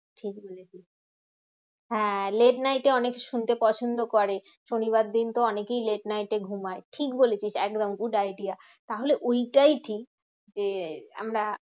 ঠিকবলেছিস, হ্যাঁ late night এ অনেক শুনতে পছন্দ করে। শনিবার দিনতো অনেকেই late night এ ঘুমায়। ঠিকবলেছিস একদম good idea তাহলে ওইটাই ঠিক যে আমরা